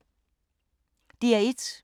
DR1